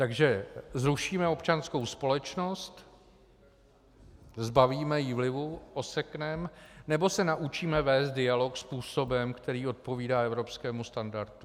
Takže zrušíme občanskou společnost, zbavíme ji vlivu, osekneme, nebo se naučíme vést dialog způsobem, který odpovídá evropskému standardu.